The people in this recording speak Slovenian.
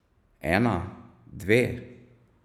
Ena, dve?